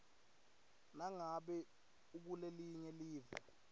nangabe ukulelinye live